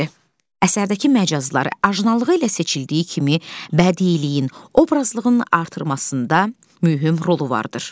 Əsərdəki məcazları ajnalığı ilə seçildiyi kimi bədiiyinin, obrazlığının artırmasında mühüm rolu vardır.